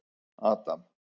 Adam